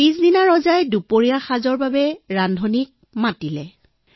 পিছদিনা ৰজাই দুপৰীয়াৰ ভোজনৰ বাবে ৰান্ধনিক মাতিলে